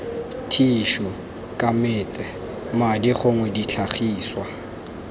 thišu kamete madi gongwe ditlhagiswa